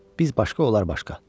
Biz başqa, onlar başqa.